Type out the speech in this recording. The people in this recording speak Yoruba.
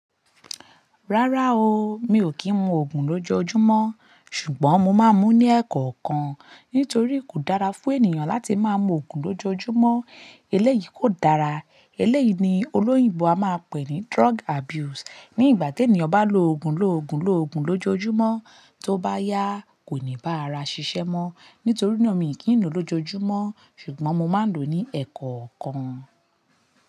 Rárá o, mi ò kí ń mu ògùn lójoojúmọ́. Ṣùgbọ́n mo máa ń mú ní ẹ̀kọ̀kan. Nítorí kò dára fún ènìyàn láti máa ń mu ògùn lójoojúmọ́. Eléyìí kò dára, eléyìí ni olóyìnbo a máa pè ní drug abuse. Ní ìgbà tí ènìyàn bá ń lo ògùn, lo ògùn, lo ògùn lójoojúmọ́, tó bá yá kò ní bá ara ṣiṣẹ́ mọ́. Nítorí náà mi kì ń lò ó lójoojúmọ́. Ṣùgbọ́n mo máa ń lò ó ní ẹ̀kọ̀ọ̀kan.